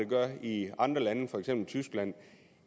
gør i andre lande for eksempel i tyskland